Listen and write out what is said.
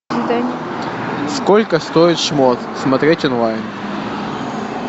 сколько стоит шмот смотреть онлайн